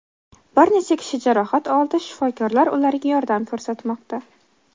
Bir necha kishi jarohat oldi, shifokorlar ularga yordam ko‘rsatmoqda.